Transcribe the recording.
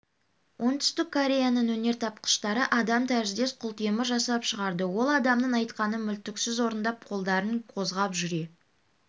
оңтүстік кореяның өнертапқыштары адам тәріздес құлтемір жасап шығарды ол адамның айтқанын мүлтіксіз орындап қолдарын қозғап жүре